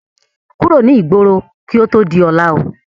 Kúrò ní igbóro kí ó tó di ọlá ó!